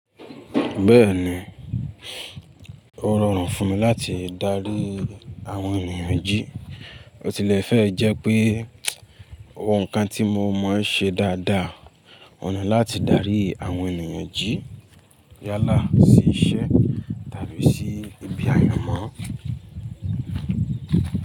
Bẹ́ẹ̀ni, ó rọrùn fún mi láti darí àwọn ènìyàn jí. Ó tilẹ̀ fẹ́ ẹ jẹ́ pé, àwọn ǹkan tí mo mọ̀ ń ṣe dáadáa, ọ̀ ni láti darí àwọn ènìyàn jí yálà sí iṣẹ́ tàbí sí ibi àyanmọ́.